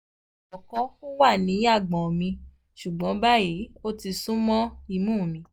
ní àkọ́kọ́ ó wà ní àgbọ̀n mi ṣùgbọ́n báyìí ó ti sún mọ́ imú mi